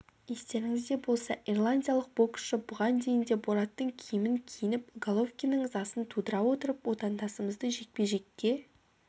естеріңізде болса ирландиялық боксшы бұған дейін де бораттың киімін киініп головкиннің ызасын тудыра отырып отандасымызды жекпе-жекке